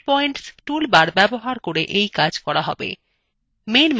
edit points toolbar ব্যবহার করে we কাজ করা হবে